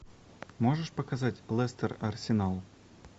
можешь показать лестер арсенал